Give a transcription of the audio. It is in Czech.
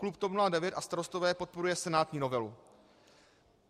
Klub TOP 09 a Starostové podporuje senátní novelu.